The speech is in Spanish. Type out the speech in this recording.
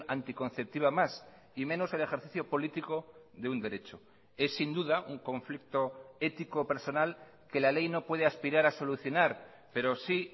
anticonceptiva más y menos el ejercicio político de un derecho es sin duda un conflicto ético personal que la ley no puede aspirar a solucionar pero sí